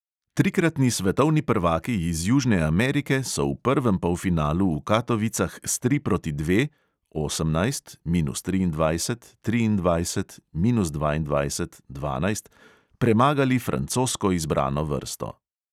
Trikratni svetovni prvaki iz južne amerike so v prvem polfinalu v katovicah s tri proti dve (osemnajst, minus triindvajset, triindvajset, minus dvaindvajset, dvanajst) premagali francosko izbrano vrsto.